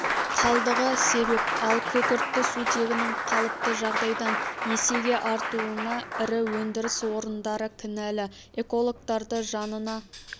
қалдығы себеп ал күкіртті сутегінің қалыпты жағдайдан есеге артуына ірі өндіріс орындары кінәлі экологтарды жанына